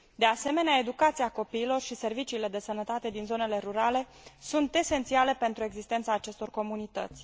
De asemenea, educația copiilor și serviciile de sănătate din zonele rurale sunt esențiale pentru existența acestor comunități.